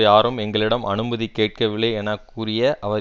யாரும் எங்களிடம் அனுமதி கேட்கவில்லை என கூறிய அவர்